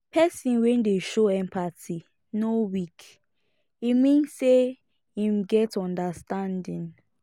pesin wey dey show empathy no weak e mean sey em get understanding